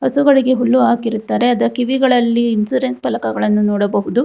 ಹಸುಗಳಿಗೆ ಹುಲ್ಲು ಹಾಕಿರುತ್ತಾರೆ ಅದ ಕಿವಿಗಳಲ್ಲಿ ಇನ್ಸೂರೆನ್ಸ್ ಫಲಕಗಳನ್ನು ನೋಡಬಹುದು.